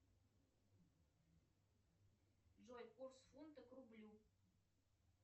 джой курс фунта к рублю